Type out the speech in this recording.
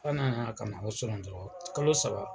Sann'an ka ko surɔ dɔrɔn kalo saba